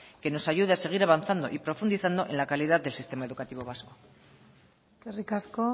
que nos ayude a seguir avanzando y profundizando en la calidad del sistema educativo vasco eskerrik asko